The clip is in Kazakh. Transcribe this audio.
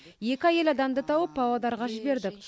екі әйел адамды тауып павлодарға жібердік